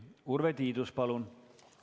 Urve Tiidus, palun!